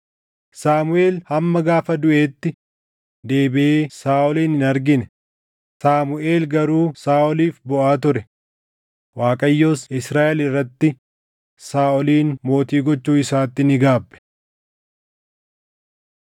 Saamuʼeel hamma gaafa duʼeetti deebiʼee Saaʼolin hin argine; Saamuʼeel garuu Saaʼoliif booʼaa ture. Waaqayyos Israaʼel irratti Saaʼolin mootii gochuu isaatti ni gaabbe.